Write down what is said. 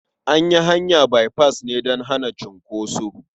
An yi hanya baifas ne don hana cunkoso.